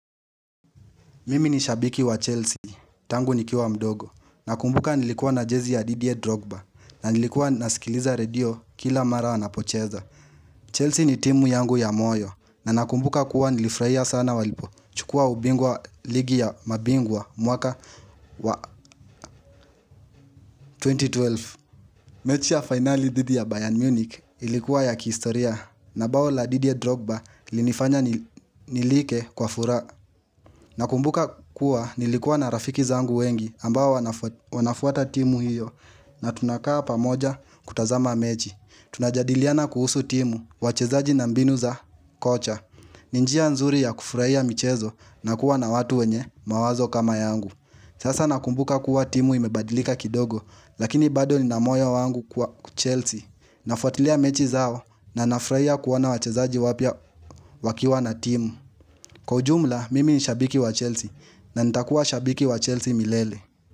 Mimi ni shabiki wa Chelsea, tangu nikiwa mdogo, nakumbuka nilikuwa na jezi ya Didier Drogba, na nilikuwa nasikiliza radio kila mara wanapocheza. Chelsea ni timu yangu ya moyo, na nakumbuka kuwa nilifurahia sana walipochukua ubingwa wa ligi ya mabingwa mwaka wa 2012. Mechi ya fainali dhidi ya Bayern Munich ilikuwa ya kihistoria, na bao la Didier Drogba lilinifanya nilike kwa fura. Na kumbuka kuwa nilikuwa na rafiki zangu wengi ambao wanafuata timu hiyo na tunakaa pamoja kutazama mechi. Tunajadiliana kuhusu timu wachezaji na mbinu za kocha. Ni njia nzuri ya kufurahia michezo na kuwa na watu wenye mawazo kama yangu. Sasa nakumbuka kuwa timu imebadilika kidogo lakini bado nina moyo wangu kuwa Chelsea. Nafuatilia mechi zao na nafurahia kuwaona wachezaji wapya wakiwa na timu. Kwa ujumla, mimi ni shabiki wa Chelsea na nitakuwa shabiki wa Chelsea milele.